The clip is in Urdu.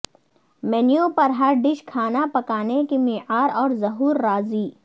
مینو پر ہر ڈش کھانا پکانے کے معیار اور ظہور راضی